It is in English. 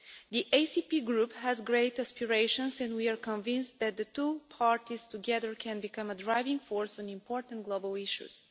The ACP group has great aspirations and we are convinced that the two parties together can become a driving force on important global issues.